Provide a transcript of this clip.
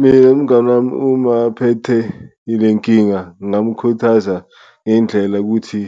Mina umngani wami uma aphethe ile nkinga ngamkhuthaza ngendlela ukuthi